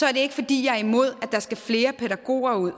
er det ikke fordi jeg er imod at der skal flere pædagoger ud